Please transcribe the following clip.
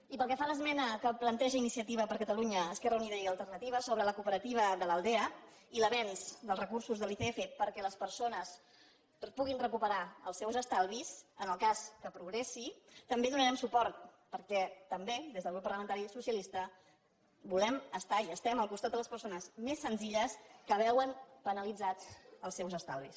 i pel que fa a l’esmena que planteja iniciativa per ca·talunya · esquerra unida i alternativa sobre la coope·rativa de l’aldea i l’avenç dels recursos de l’icf per·què les persones puguin recuperar els seus estalvis en el cas que progressi també hi donarem suport perquè també des del grup parlamentari socialista volem estar i estem al costat de les persones més senzilles que veuen penalitzats els seus estalvis